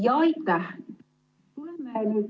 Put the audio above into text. Aitäh!